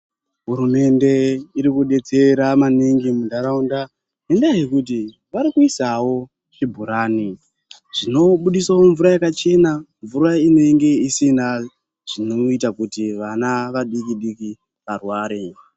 Hurumende iri kudetsera maningi mundaraunda ngendaa yekuti vari kuisawo zvibhorane zvinobudisawo mvura yakachena, mvura inenge isinawo zvinoita kuti vana vadiki diki varware.